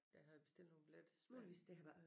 Der havde bestilt nogle billetter til Spanien